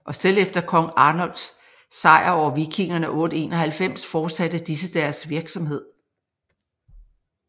Og selv efter kong Arnulfs sejr over vikingerne 891 fortsatte disse deres virksomhed